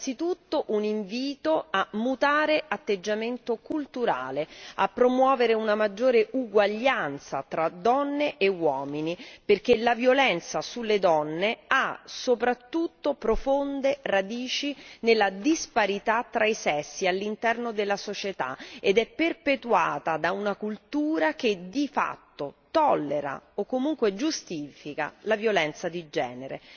Innanzitutto, un invito a mutare atteggiamento culturale, a promuovere una maggiore uguaglianza tra donne e uomini, perché la violenza sulle donne ha soprattutto profonde radici nella disparità tra i sessi all'interno della società ed è perpetuata da una cultura che di fatto tollera, o comunque giustifica, la violenza di genere.